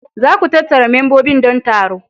Za ku tattara membobin don taro.